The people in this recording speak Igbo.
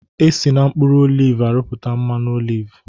Esi n'mkpuru olivu arụpụta mmanụ olivu